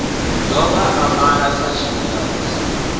dovha a malwa sa tshilikadzi